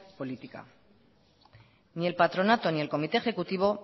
política ni el patronato ni el comité ejecutivo